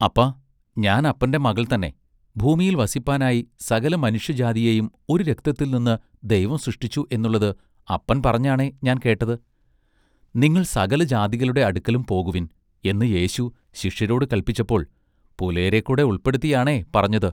അപ്പാ ഞാൻ അപ്പന്റെ മകൾ തന്നെ ഭൂമിയിൽ വസിപ്പാനായി സകല മനുഷ്യജാതിയെയും ഒരു രക്തത്തിൽ നിന്നു ദൈവം സൃഷ്ടിച്ചു എന്നുള്ളത് അപ്പൻ പറഞ്ഞാണ ഞാൻ കേട്ടത് നിങ്ങൾ സകല ജാതികളുടെ അടുക്കലും പോകുവിൻ എന്ന് യേശു ശിഷ്യരോട് കല്പിച്ചപ്പോൾ പുലയരെ കൂടെ ഉൾപ്പെടുത്തിയാണെ പറഞ്ഞത്.